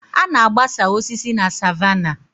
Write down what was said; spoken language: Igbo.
A na-agbasa osisi na savannah